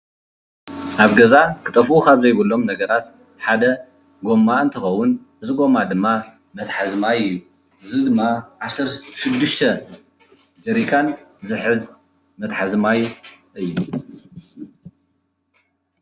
አብ ገዛ ክጠፍኡ ካብ ዘይብሎም ነገራት ሓደ ጎማ እንትኸውን እዚ ጎማ ድማ መትሐዚ ማይ እዩ። እዚ ድማ ዓሰርተ ሽዱሽተ ጀሪካን ዝሕዝ መትሐዚ ማይ እዩ።